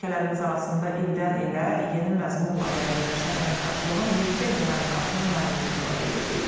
Ölkələrimiz arasında ildən-ilə yeni məzmunla zənginləşən əməkdaşlığın yüksək dinamikasını məmnunluqla qeyd eləyib.